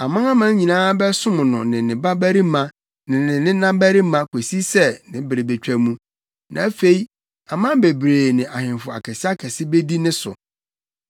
Amanaman nyinaa bɛsom no ne ne babarima ne ne nenabarima kosi sɛ ne bere betwa mu; na afei aman bebree ne ahemfo akɛseakɛse bedi ne so.